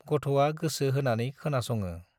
गथ'आ गोसो होनानै खोनास'ङो ।